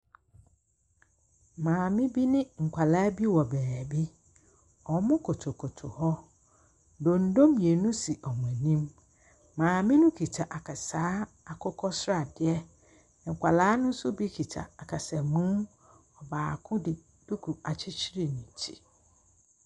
Maame bi ne nkɔla bi wɔ baabi. Ɔmo kotokoto hɔ. Dondo mmienu si ɔmo anim. Maame no kita akasaa akokɔsradeɛ. Nkɔla no bi nso kita ɔkasamu. Baako de duku akyekyere ne ti.